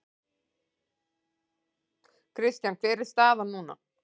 Kristján hver er staðan núna?